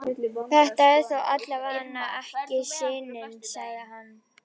Þetta er þó allavega ekki sinin, sagði hann.